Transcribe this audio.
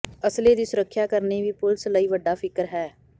ਅਸਲੇ ਦੀ ਸੁਰੱੱਖਿਆ ਕਰਨੀ ਵੀ ਪੁਲਸ ਲਈ ਵੱਡਾ ਫਿਕਰ ਹੈ